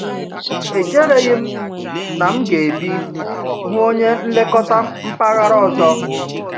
Echereghị m na m ga-ebi hụ onye nlekọta mpaghara ọzọ.